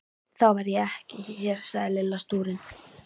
Þá verð ég ekki hér sagði Lilla stúrin.